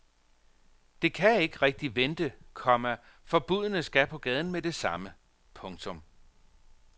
Det kan ikke rigtig vente, komma for budene skal på gaden med det samme. punktum